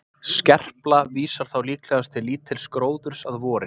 Skerpla vísar þá líklegast til lítils gróðurs að vori.